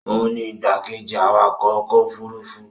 òun ni igbákejì awakọ̀ ọkọ̀ òfurufú